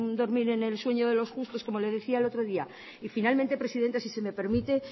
dormir en el sueño de los justos como le decía el otro día y finalmente presidenta si se me permite